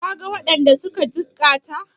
Ka ga waɗanda suka jikkata?